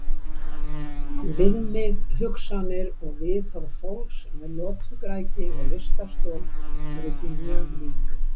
Viðmið, hugsanir og viðhorf fólks með lotugræðgi og lystarstol eru því mjög lík.